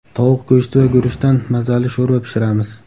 Tovuq go‘shti va guruchdan mazali sho‘rva pishiramiz.